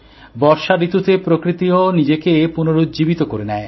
বর্ষা ঋতুতে প্রকৃতিও নিজেকে পুনরুজ্জীবিত করে নেয়